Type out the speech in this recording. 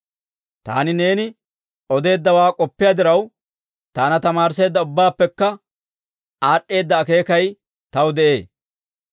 Taani neeni odeeddawaa k'oppiyaa diraw, taana tamaarisseedda ubbaappekka aad'd'eeda akeekay taw de'ee.